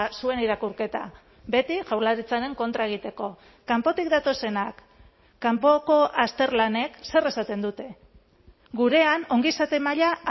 zuen irakurketa beti jaurlaritzaren kontra egiteko kanpotik datozenak kanpoko azterlanek zer esaten dute gurean ongizate maila